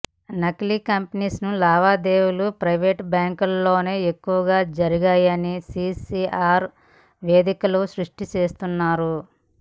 నకిలీ కరెన్సీ లావాదేవీలు ప్రైవేటు బ్యాంకుల్లోనే ఎక్కువగా జరిగాయని సీసీఆర్ నివేదికలు స్పష్టం చేస్తున్నాయి